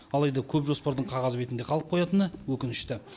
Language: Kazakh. алайда көп жоспардың қағаз бетінде қалып қоятыны өкінішті